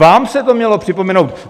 Vám se to mělo připomenout.